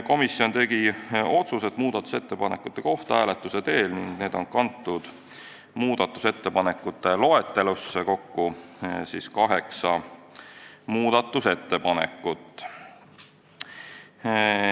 Komisjon tegi otsused muudatusettepanekute kohta hääletuse teel ning need on kantud muudatusettepanekute loetelusse, kokku on kaheksa muudatusettepanekut.